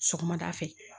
Sɔgɔmada fɛ